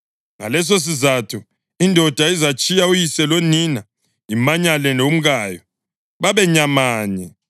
Ngalesisizatho indoda izatshiya uyise lonina imanyane lomkayo, babe nyamanye.